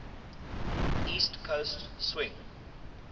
east coast swing